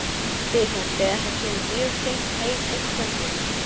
spyr hún þegar hann kemur mjög seint heim eitt kvöldið.